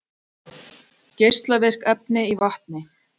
Geislavirk efni í vatni